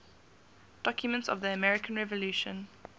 documents of the american revolution